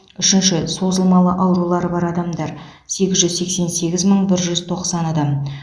үшінші созылмалы аурулары бар адамдар сегіз жүз сексен сегіз мың жүз тоқсан адам